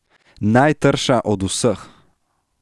Najtrša od vseh.